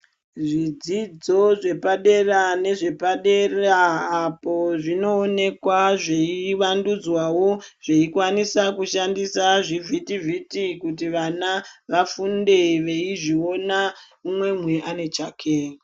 Zvidzidzo zvepadera nezvepadera apo zvinoonekwa zveyi vandudzwawo zvekwanisa kushandisa zvivhiti vhiti kuti vana vafunde veizviona umwe umwe ane chake.